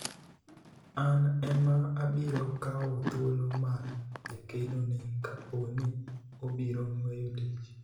an ema abiro kawo thuolo mar jakeno ni kapo ni obiro weyo tich